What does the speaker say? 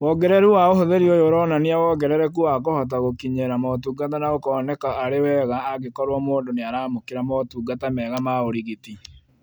Wongereru wa ũhũthĩri ũyũ ũronania wongerereku wa kũhota gũkinyĩra motungata na ũkoneka arĩ wega angĩkorwo mũndũ nĩaramũkĩra motungata mega ma ũrigiti